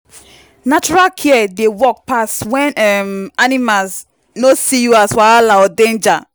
natural care dey work pass when um animals no see you as wahala or danger.